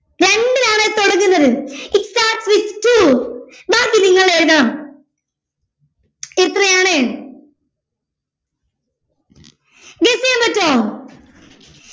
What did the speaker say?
രണ്ടിലാണ് തുടങ്ങുന്നത് it starts with two ബാക്കി നിങ്ങൾ എഴുതണം എത്രയാണ് guess ചെയ്യാൻ പറ്റുവോ